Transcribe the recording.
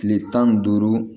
Tile tan ni duuru